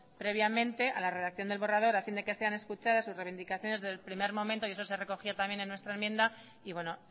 previamente a la redacción del borrador a fin de que sean escuchadas sus reivindicaciones desde el primer momento y eso se recogía también en nuestra enmienda y bueno